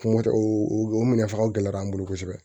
Kungo tɛ o minɛn fanga gɛlɛyara an bolo kosɛbɛ